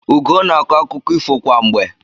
Ugoo na-akọ akụkọ ifo kwa mgbe.